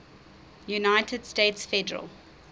united states federal